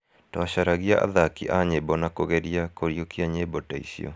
Twacaragia athaki a nyĩmbo na kũgeria kũriũkia nyĩmbo ta icio.